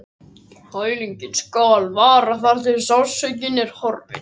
Kælingin skal vara þar til sársaukinn er horfinn.